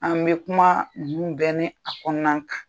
An bɛ kuma ninn bɛƐ ni a kɔnɔna kan